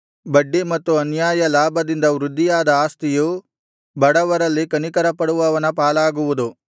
ಬಡ್ಡಿ ಮತ್ತು ಅನ್ಯಾಯ ಲಾಭದಿಂದ ವೃದ್ಧಿಯಾದ ಆಸ್ತಿಯು ಬಡವರಲ್ಲಿ ಕನಿಕರಪಡುವವನ ಪಾಲಾಗುವುದು